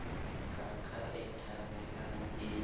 ka ka e thabelang e